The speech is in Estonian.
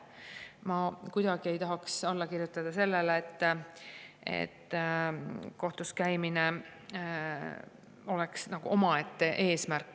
Ma kuidagi ei tahaks alla kirjutada sellele, et kohtus käimine oleks nagu omaette eesmärk.